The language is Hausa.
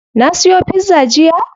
Na siyo pizza jiya?